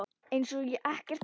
Eins og ekkert sé!